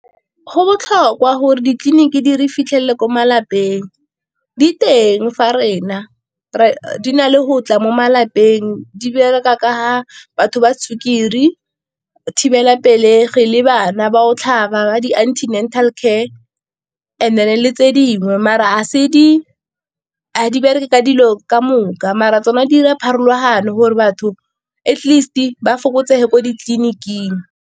Go botlhokwa gore ditleliniki di re fitlhelele ko malapeng, diteng fa rena re di na le go tla mo malapeng, di bereka ka batho ba sukiri, thibelapelegi le bana ba go tlhaba ba di-antenatal care, and then le tse dingwe mara ga se bereke ka dilo ka moka mara tsona di 'ira pharologano gore batho at least ba fokotsege ko ditleliniking.